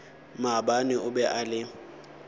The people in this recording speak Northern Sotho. maabane o be a le